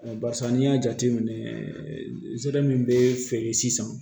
Barisa n'i y'a jateminɛ zɛmɛ min bɛ feere sisan